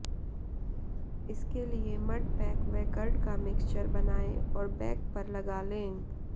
इसके लिए mud pack व कर्ड का मिक्सचर बनाएं और बैक पर लगा लें